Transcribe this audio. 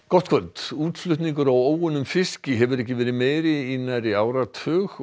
gott kvöld útflutningur á óunnum fiski hefur ekki verið meiri í nærri áratug